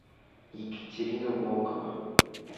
екатерина волкова